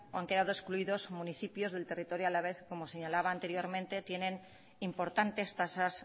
han quedado excluidos municipios del territorio alavés como señalaba anteriormente tienen importantes tasas